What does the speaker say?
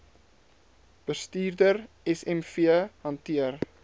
bestuurder smv hanteer